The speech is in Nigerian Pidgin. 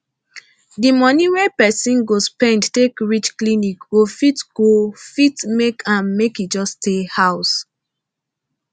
d moni wey persin go spend take reach clinic go fit go fit make am make e just stay house